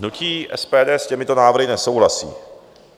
Hnutí SPD s těmito návrhy nesouhlasí.